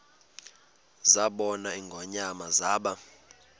zabona ingonyama zaba